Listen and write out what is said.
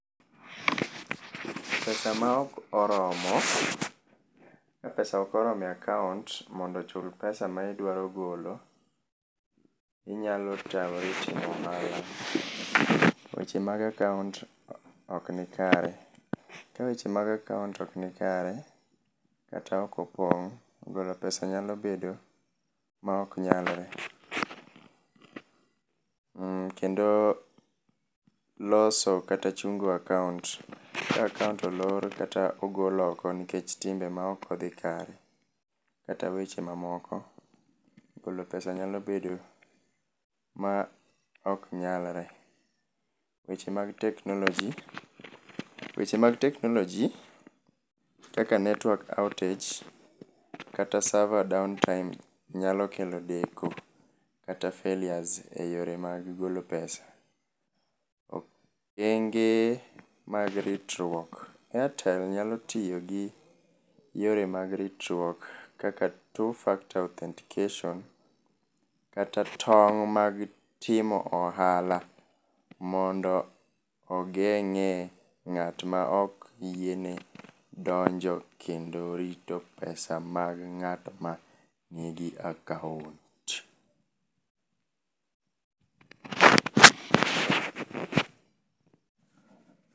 Pesa maok oromo, ka pesa okoromo e akaont mondo ochul pesa ma idwaro golo, inyalo tamori timo ohala. Weche mag akaont ok ni kare, ka weche mag akoaont ok ni kare kata okopong', golo pesa nyalo bedo maok nyalre. Uhm, kendo loso kata chungo akaont, ka akaont olor kata ogol oko nikech timbe maok odhi kare kata weche mamoko, golo pesa nyalo bedo ma ok nyalre. Weche mag teknoloji: weche mag teknoloji kaka network outage kata server downtime nyalo kelo deko kata failures e yore mag golo pesa. Okenge mag ritruok: Airtel nyalo tiyo gi yore mag ritruok kaka two factor authentication kata tong' mag timo ohala mondo ogeng'ee ng'at ma ok yiene donjo kendo rito pesa mag ng'at ma nigi akaont.